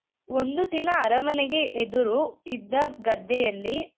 ಒಂದು ದಿನ ಅರಮನೆಗೆ ಎದುರು ಇದ್ದ ಗದ್ದೆಯಲ್ಲಿ .